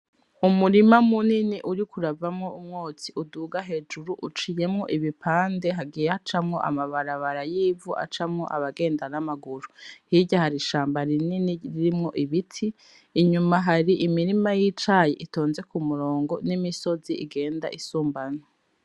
Umurima munini uriko uravamwo umwotsi uduga hejuru uciyemwo ibipande hagiye hacamwo amabarabara 'ivu acamwo abagenda n'amaguru hirya hari ishamba rinini ririmwo ibiti inyuma hari imirima y'icayi itonze k'umurongo n'imisozi igenda isumbana.